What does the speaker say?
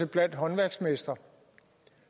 blandt håndværksmestre